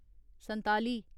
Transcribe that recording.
संताली